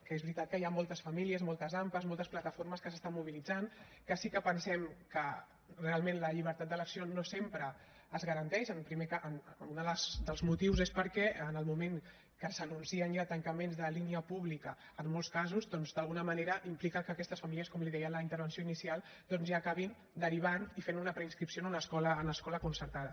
que és veritat que hi han moltes famílies moltes ampa moltes plataformes que s’estan mobilitzant que sí que pensem que realment la llibertat d’elecció no sempre es garanteix un dels motius és perquè en el moment que s’anuncien ja tancaments de línia pública en molts casos doncs d’alguna manera implica que aquestes famílies com li deia en la intervenció inicial doncs ja acabin derivant i fent una preinscripció en una escola concertada